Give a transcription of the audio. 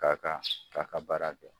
k'a kan a ka baara kɛ.